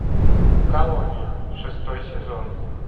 колония шестой сезон